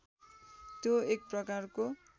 त्यो एक प्रकारको